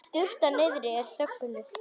Sturtan niðri er þögnuð.